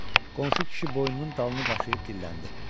Qonşu kişi boynunun dalını qaşıyıb dilləndi.